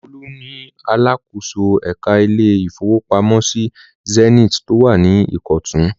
Olú ni alákòóso ẹ̀ka ilé-ìfowópamọ́sí Zenith tó wà ní Ìkọ̀tún.